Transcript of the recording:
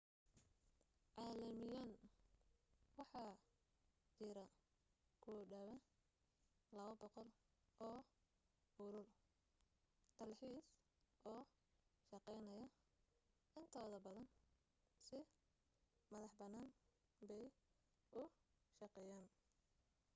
caalamiyan waxa jira ku dhawaa 200 oo urur dalxiis oo shaqaynaya intooda badan si madax bannaan bay u shaqeeyaan